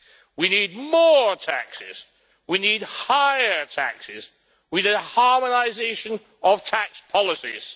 We need more taxes, we need higher taxes, and we need a harmonisation of tax policies.